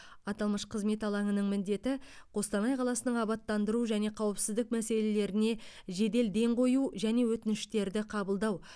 аталмыш қызмет алаңының міндеті қостанай қаласының абаттандыру және қауіпсіздік мәселелеріне жедел ден қою және өтініштерді қабылдау